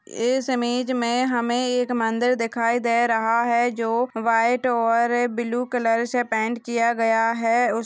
इस इमेज में हमे एक मंदिर दिखाई दे रहा है जो वाइट और ब्लू कलर से पेंट किया गया है उसका।